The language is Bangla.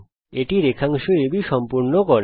এটি রেখাংশ AB কে সম্পূর্ণ করে